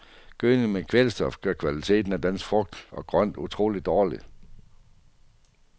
Gødning med kvælstof gør kvaliteten af dansk frugt og grønt utrolig dårlig.